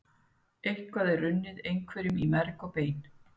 Eitthvað er runnið einhverjum í merg og bein